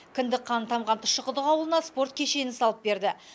кіндік қаны тамған тұщықұдық ауылына спорт кешенін салып берді